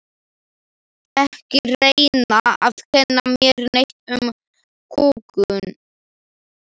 Ekki reyna að kenna mér neitt um kúgun.